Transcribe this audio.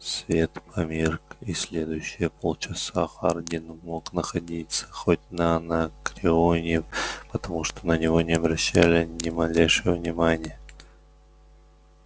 свет померк и следующие полчаса хардин мог находиться хоть на анакреоне потому что на него не обращали ни малейшего внимания